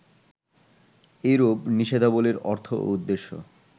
এরূপ নিষেধাবলির অর্থ ও উদ্দেশ্য